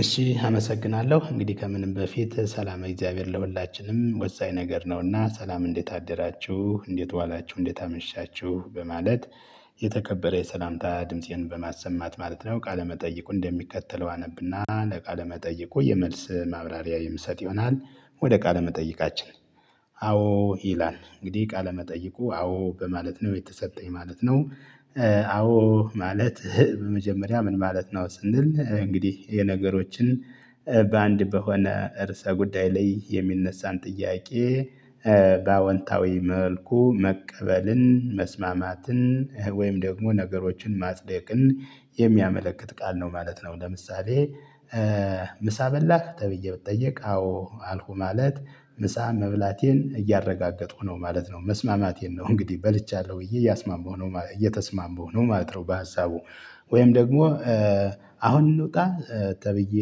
እሺ አመሰግናለሁ እንግዲህ ከምንም በፊት ሰላም እግዚአብሔር ለሁላችንም ወሳኝ ነገር ነውና ሰላም እንዴት አደራችሁ እንዴት ዋላችሁ እንዴት አመሻችሁ በማለት የተከበረ የሰላምታ ድምፄን በማሰማት ማለት ነው ቃለመጠይቁ እንደሚከተለው አነብና ለቃለመጠይቁ የመልስ ማብራሪያ የምሰጥ ይሆናል። ወደ ቃለ መጠይቃችን አዎ ይላል እንግዲህ ቃለ መጠይቁ አዎ በማለት ነው የተሰጠኝ ማለት ነው። አዎ ማለት ህ በመጀመሪያ ምን ማለት ነው? ስንል እንግዲህ የነገሮችን በአንድ በሆነ እርሰ ጉዳይ ላይ የሚነሳን ጥያቄ በአወንታዊ መልኩ መቀበልን መስማማትን ወይም ደግሞ ነገሮችን ማጽደቅን የሚያመለክት ቃል ነው ማለት ነው። ለምሳሌ ምሳ በላህ ተብዬ ብጠየቅ አዎ አልሁ ማለት ምሳ መብላቴን እያረጋገጡሁ ነው ማለት ነው። መስማማቴን ነው እንግዲህ በልቻለሁ ብዬ እያስማማሁ ነው እየተስማማሁ ነው ማለት ነው። በሀሳቡ ወይም ደግሞ አሁን እንወጣ ተብዬ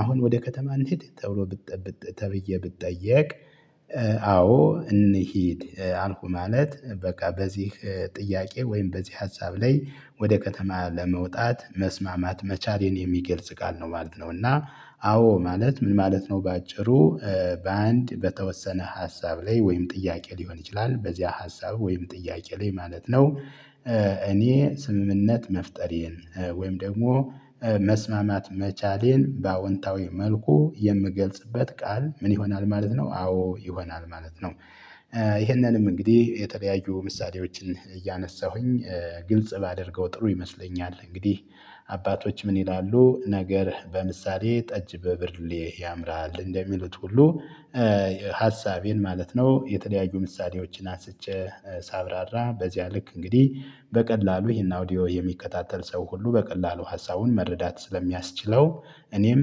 አሁን ወደ ከተማ እንሂድ ተብሎ ብጠ ብጠ ተብዬ ብጠየቅ? አዎ እንሂድ አልኩሁ ማለት በቃ በዚህ ጥያቄ ወይም በዚህ ሀሳብ ላይ ወደ ከተማ ለመውጣት መስማማት መቻሌን የሚገልጽ ቃል ነው ማለት ነው። እና አዎ ማለት ምን ማለት ነው? በአጭሩ በአንድ በተወሰነ ሀሳብ ላይ ወይም ጥያቄ ሊሆን ይችላል በዚህ ሀሳብ ወይም ጥያቄ ላይ ማለት ነው። እኔ ስምምነት መፍጠሬን ወይም ደግሞ መስማማት መቻሌን በአዎንታዊ መልኩ የምገልጽበት ቃል ምን ይሆናል? ማለት ነው አዎ ይሆናል ማለት ነው። ይህንንም እንግዲህ የተለያዩ ምሳሌዎችን እያነሳሁኝ ግልጽ ባደርገው ጥሩ ይመስለኛል። እንግዲህ አባቶች ምን ይላሉ ነገር በምሳሌ ጠጅ በብርሌ ያምራል እንደሚሉት ሁሉ። ሀሳቤን ማለት ነው የተደያዩ ምሳሌዎችን አስቼ ሳብራራ በዚያ ልክ እንግዲህ በቀላሉ ይሄን አውዲዮ የሚከታተል ሰው ሁሉ በቀላሉ ሀሳቡን መረዳት ስለሚያስችለው እኔም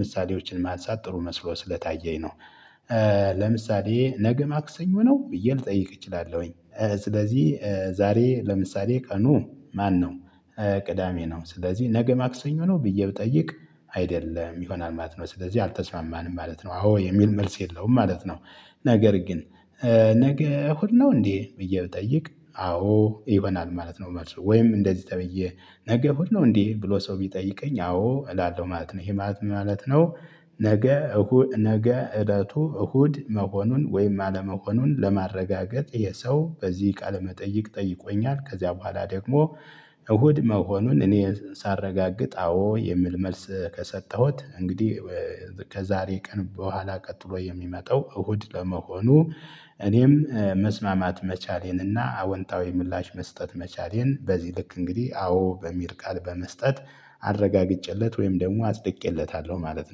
ምሳሌዎችን ማንሳት ጥሩ መስሎ ስለታየኝ ነው። ለምሳሌ ነገ ማክሰኞ ነው ብዬ ልጠይቅ እችላለሁኝ። ስለዚህ ዛሬ ለምሳሌ ቀኑ ማነው? ቅዳሜ ነው ስለዚህ ነገ ማክሰኞ ነው ብዬ ብጠይቅ አይደለም ይሆናል ማለት ነው ስለዚህ አልተስማማንም ማለት ነው አዎ የሚል መልስ የለውም ማለት ነው። ነገር ግን ነገ እሁድ ነው እንዴ ብዬ ብጠይቅ አዎ ይሆናል ማለት ነው። ወይም እንደዚህ ተብዬ ነገ ሁሉ እንዲህ ብሎ ሰው ቢጠይቀኝ አዎ እላለሁ ማለት ነው ይሄ ማለት ምን ማለት ነው? ነገ እሁ ነገ እለቱ እሁድ መሆኑን ወይም አለመሆኑን ለማረጋገጥ እሄ ሰው በዚህ ቃለ መጠይቅ ጠይቆኛል ከዚያ በኋላ ደግሞ እሁድ መሆኑን እኔ ሳረጋግጥ አዎ የሚል መልስ ከሰጠሁት እንግዲህ ከዛሬ ቀን በኋላ ቀጥሎ የሚመጣው እሁድ ለመሆኑ። እኔም መስማማት መቻሌንና አወንታዊ ምላሽ መስጠት መቻሌን በዚህ ልክ እንግዲህ አዎ በሚር ቃል በመስጠት አረጋግጬለት ወይም ደግሞ አጽድቄለታለሁ ማለት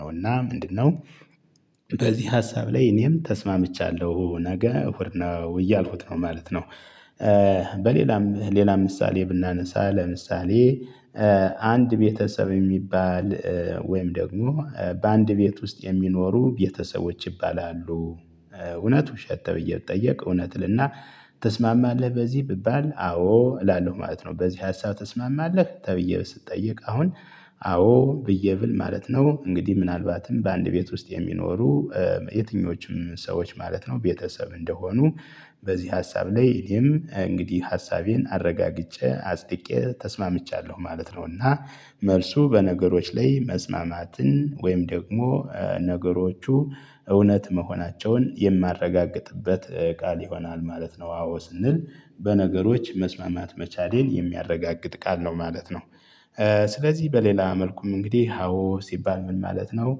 ነው። እና ምንድነው? በዚህ ሀሳብ ላይ እኔም ተስማምቻለሁ ነገ እሁድ ነው እያልሁት ነው ማለት ነው። በሌላም ሌላም ምሳሌ ብናነሳ ለምሳሌ አንድ ቤተሰብ የሚባል ወይም ደግሞ በአንድ ቤት ውስጥ የሚኖሩ ቤተሰቦች ይባላሉ። እውነት ውሸት ተብዬ ብጠየቅ እውነት እልና ትስማማለህ በዚህ ብባል አዎ እላለሁ ማለት ነው። በዚህ ሀሳብ ትስማማለህ ተብዬ ስጠየቅ አሁን አዎ ብዬ ብል ማለት ነው። እንግዲህ ምናልባትም በአንድ ቤት ውስጥ የሚኖሩ የትኞቹም ሰዎች ማለት ነው ቤተሰብ እንደሆኑ በዚህ ሀሳብ ላይ እኔም እንግዲህ ሀሳቤን አረጋግጬ አፅድቄ ተስማምቻለሁ ማለት ነው። እና መልሱ በነገሮች ላይ መስማማትን ወይም ደግሞ ነገሮቹ እውነት መሆናቸውን የማረጋግጥበት ቃል ይሆናል ማለት ነው። አዎ ስንል በነገሮች መስማማት መቻሌን የሚያረጋግጥ ቃል ነው ማለት ነው። ስለዚህ በሌላ መልኩም እንግዲህ ሀዎ ሲባል ምን ማለት ነው?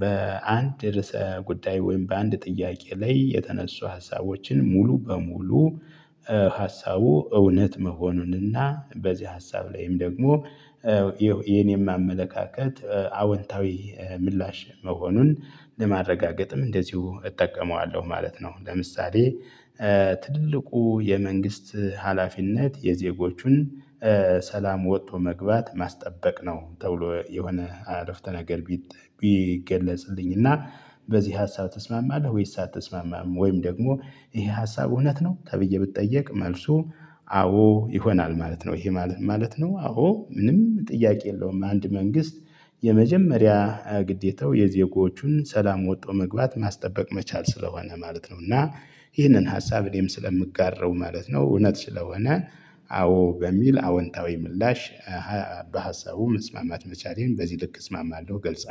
በአንድ ርዕሰ ጉዳይ ወይም በአንድ ጥያቄ ላይ የተነሱ ሀሳቦችን ሙሉ በሙሉ ሀሳቡ እውነት መሆኑንና በዚህ ሀሳብ ላይም ደግሞ የኔም አመለካከት አወንታዊ ምላሽ መሆኑን ለማረጋገጥም እንደዚሁ እጠቀመዋለሁ ማለት ነው። ለምሳሌ ትልቁ የመንግስት ሀላፊነት የዜጎቹን ሰላም ወቶ መግባት ማስጠበቅ ነው ተብሎ የሆነ አረፍተ ነገር። ቢገለጽልኝና እና በዚህ ሀሳብ ትስማማለህ ወይስ አትስማማም ወይም ደግሞ ይሄ ሀሳብ እውነት ነው ተብዬ ብጠየቅ መልሱ አዎ ይሆናል ማለት ነው። ይሄ ማለት ምን ማለት ነው? አዎ ምንም ጥያቄ የለውም አንድ መንግስት የመጀመሪያ ግዴታው የዜጎቹን ሰላም ወጥቶ መግባት ማስጠበቅ መቻል ስለሆነ ማለት ነው። እና ይህንን ሀሳብ እኔም ስለምጋራው ማለት ነው። እውነት ስለሆነ አዎ በሚል አወንታዊ ምላሽ በሀሳቡ መስማማት መቻሌን በዚህ ልክ እስማማለሁ ገልጻለሁ